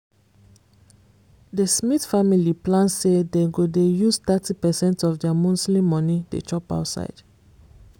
the smith family plan say dem go dey use thirty percent of their monthly money dey chop outside